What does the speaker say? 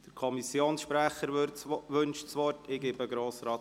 – Der Kommissionssprecher wünscht das Wort.